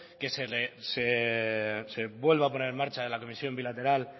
que se vuelva a poner en marcha la comisión bilateral